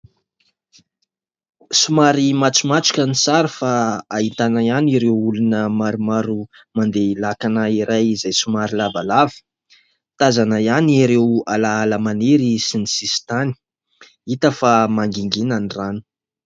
Somary matromatroka sy sary fa ahitana ihany ireo olona maromaro mandeha lakana iray izay somary lavalava. Tazana ihany ireo alaala maniry sy ny sisin-tany. Hita fa mangingina ny rano.